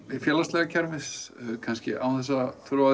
félagslega kerfið án þess að þurfa